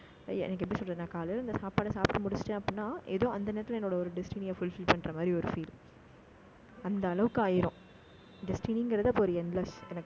எனக்கு எப்படி சொல்றதுன்னா காலையில, இந்த சாப்பாடை சாப்பிட்டு முடிச்சுட்டேன் அப்படின்னா, ஏதோ அந்த நேரத்துல என்னோட, ஒரு destiny அ fulfil மாரி, ஒரு feel அந்த அளவுக்கு ஆயிரும். destiny ஒரு endless